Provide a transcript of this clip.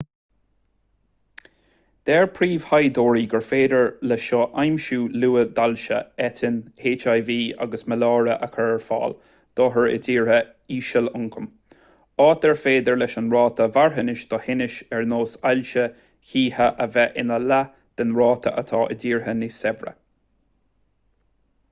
deir príomhthaighdeoirí gur féidir le seo aimsiú luath d'ailse eitinn hiv agus maláire a chur ar fáil d'othair i dtíortha ísealioncaim áit ar féidir leis an ráta marthanais do thinnis ar nós ailse chíche a bheith ina leath den ráta atá i dtíortha níos saibhre